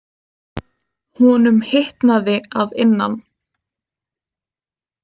Honum hitnaði að innan.